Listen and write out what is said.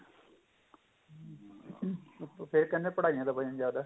ਫੇਰ ਕਹਿੰਦੇ ਪੜਾਈਆਂ ਦਾ ਵਜਨ ਜਿਆਦਾ